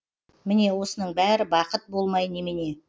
міне осының бәрі бақыт болмай немене